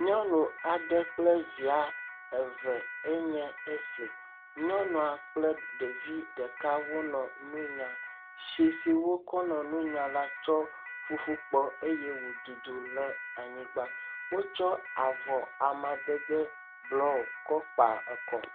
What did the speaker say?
Nyɔnu aɖe kple via ye nye esi. Nyɔnua kple ɖevi ɖeka wonɔ nu nyam. Tsi si wokɔ le nu nyam kɔ fufukpɔ eye wodudu ɖe anyiagbã. Wokɔ avɔ amadede bluɔ eye wokɔe kpa ekɔ.